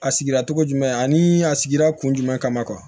A sigira cogo jumɛn ani a sigira kun jumɛn kama